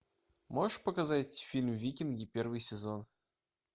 можешь показать фильм викинги первый сезон